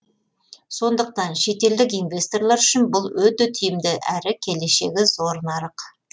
сондықтан шетелдік инвесторлар үшін бұл өте тиімді әрі келешегі зор нарық